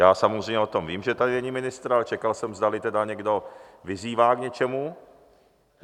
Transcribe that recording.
Já samozřejmě o tom vím, že tady není ministr, ale čekal jsem, zdali tedy někdo vyzývá k něčemu.